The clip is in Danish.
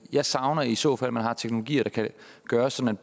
jeg savner i så fald at man har teknologier der kan gøre sådan